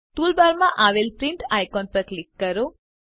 ટૂલબારમાં આવેલ print icon પર ક્લિક કરો